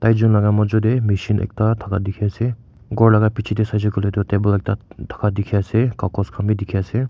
zun la majo tae machine ekta thaka dikhiase ghor laka bichae saishey koilae tu table ekta thaka dikhiase kakaos khan bi dikhiase.